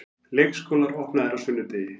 Leikskólar opnaðir á sunnudegi